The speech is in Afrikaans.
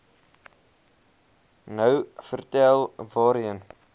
nou vertel waarheen